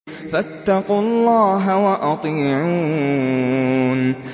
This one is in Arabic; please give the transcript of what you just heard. فَاتَّقُوا اللَّهَ وَأَطِيعُونِ